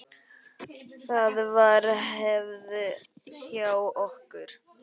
Það var hefð hjá okkur.